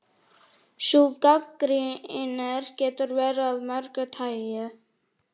Sú gagnrýni getur verið af mörgu tagi.